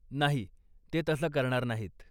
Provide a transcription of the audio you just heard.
नाही, ते तसं करणार नाहीत.